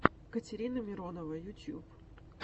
катерина миронова ютюб